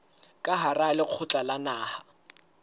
ka hara lekgotla la naha